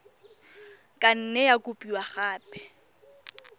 ka nne ya kopiwa gape